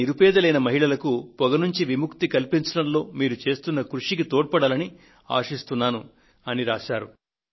ఇది నిరుపేదలైన మహిళలకు పొగ నుండి విముక్తిని కల్పించడంలో మీరు చేస్తున్న కృషికి తోడ్పడాలని ఆశిస్తున్నాను అంటూ రాశారు